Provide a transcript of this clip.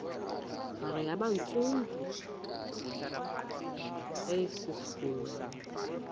hare yabantsundu eyasungulwa